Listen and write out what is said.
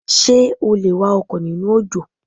Ṣé o lè wa ọkọ̀ nínú òjò?